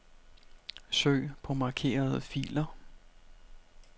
Søg på markerede filer.